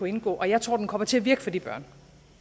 indgå og jeg tror den kommer til at virke for de børn